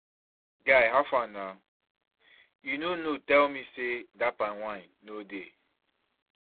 Guy howfar na, you no tell me say that palm wine no dey.